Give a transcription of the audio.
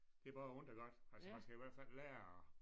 Det er både ondt og godt altså man skal i hvert fald lære